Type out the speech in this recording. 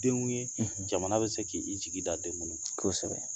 Denw ye jamana bɛ se k'i jigi da den minnu kan, kosɛbɛ